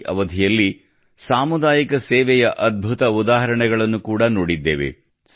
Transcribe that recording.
ಈ ಅವಧಿಯಲ್ಲಿ ಸಾಮುದಾಯಿಕ ಸೇವೆಯ ಅದ್ಭುತ ಉದಾಹರಣೆಗಳನ್ನು ಕೂಡ ನೋಡಿದ್ದೇವೆ